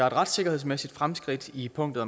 et retssikkerhedsmæssigt fremskridt i punktet